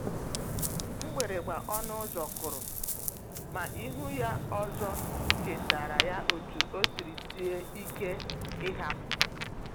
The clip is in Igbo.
Mgbịrịmgba ọnụ ụzọ kụrụ, ma ịhụ ya ọzọ chetaara ya otú o siri sie ike ịhapụ.